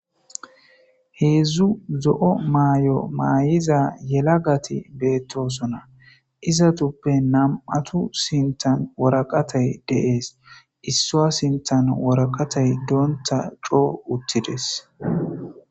heedzdzu zo7o maay7o maayiza yela gati beettosona izatuppe nam7atu sintan woraqatay deees issoa sintan woraqatay doonta coo uttides